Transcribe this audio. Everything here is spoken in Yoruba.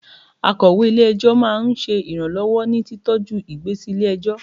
Akọ̀wé ilé - ẹjọ́ máa ń ṣe iranlọwọ ní títọ ju ìgbésí lè ẹjọ́